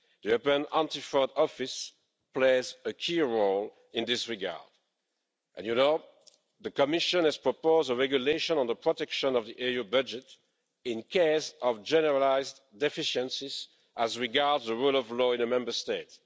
The European Anti Fraud Office plays a key role in this regard, and you know the Commission has proposed a regulation on the protection of the EU budget in case of generalised deficiencies as regards the rule of law in a Member State.